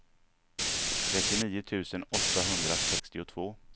trettionio tusen åttahundrasextiotvå